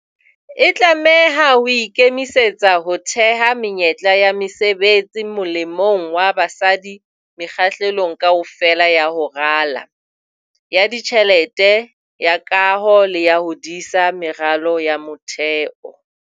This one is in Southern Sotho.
E tlameha ho ikemisetsa ho theha menyetla ya mesebetsi molemong wa basadi mekga-hlelong kaofela ya ho rala, ya ditjhelete, ya kaho le ya ho disa meralo ya motheo.